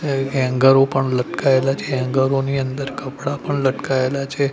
હે હેંગરો પણ લટકાઈલા છે હેંગારો ની અંદર કપડા પણ લટકાઇલા છે.